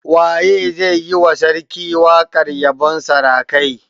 Waye zai yi wa sarki waƙar yabon sarakai?